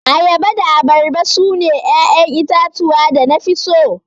Ayaba da abarba sune 'ya'yan itatuwa da nafi so.